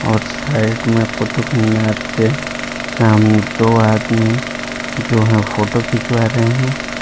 और साइड में कुतुब मीनार के सामने दो आदमी जो हैं फोटो खिंचवा रहे हैं।